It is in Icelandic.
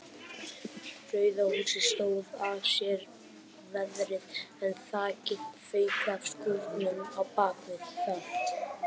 Rauða húsið stóð af sér veðrið en þakið fauk af skúrnum á bakvið það.